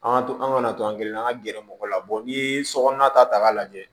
An ka an ka na to an kelen na an ka gɛrɛ mɔgɔ la n'i ye sokɔnɔna ta k'a lajɛ